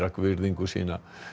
virðingu sína